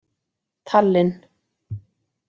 Tallinn